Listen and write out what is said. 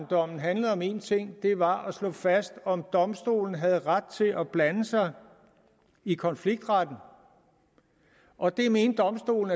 dommen handlede om én ting og det var at slå fast om domstolen havde ret til at blande sig i konfliktretten og det mente domstolen